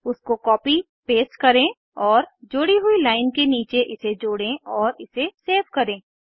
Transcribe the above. उसको copy paste करें और जोड़ी हुई लाइन के नीचे इसे जोड़ें और इसे सेव करें